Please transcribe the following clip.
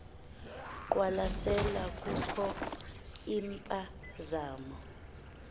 qwalasela kukho impazamo